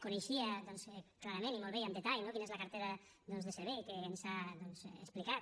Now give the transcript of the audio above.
coneixia clarament i molt bé i amb detall no quina és la cartera de serveis que ens ha explicat